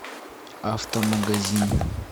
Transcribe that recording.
автомагазин